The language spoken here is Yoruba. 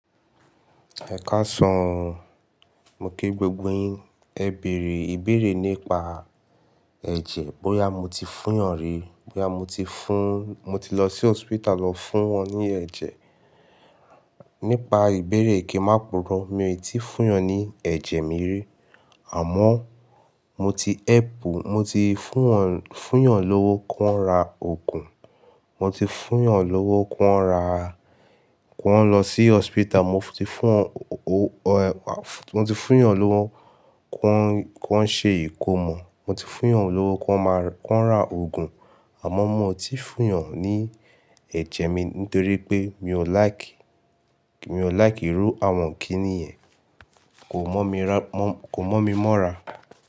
Ẹ̀kàsán, mo kí gbogbo yín. Ẹ bèrè ìbéèrè nípa ẹ̀jẹ̀, bóyá mo ti fún yàn rí, bóyá mo ti fún-- mo ti lọ sí hospital lọ fún wọn ní ẹ̀jẹ̀. Nípa ìbéèrè ìkẹ́ má purọ́, mi ò tí fún yàn ní ẹ̀jẹ̀ mi rí. Àmọ́ mo ti help, mo ti fún wọn, fún yàn lówó kí wọ́n ra oògùn, mo ti fún yàn lówó kí wọ́n ra-- kí wọ́n lọ sí hospital, mo ti fún wọn o-- mo ti fún yàn lówó kí wọ́n, kí wọ́n ṣe ìkómọ, mo ti fún yàn lówó kí wọ́n máa, kí wọ́n ra oògùn. Àmọ́ mo ti fún yàn ní ẹ̀jẹ̀ mi nítorí pé mi ò like, mi ò like irú àwọn kíní yẹn. Kò mọ́ mi rá, kò mọ́ mi mọ́ra.